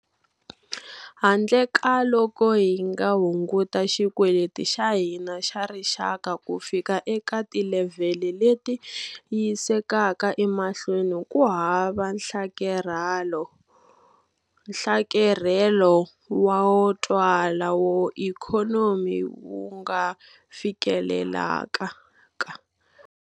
Handle ka loko hi nga hunguta xikweleti xa hina xa rixaka ku fika eka tilevhele leti yisekaka emahlweni ku hava nhlakarhelo wo twala wa ikhonomi wu nga fikelelekaka.